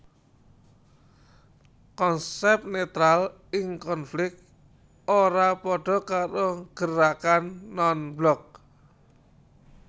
Konsep netral ing konflik ora padha karo gerakan non blok